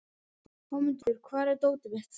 Hámundur, hvar er dótið mitt?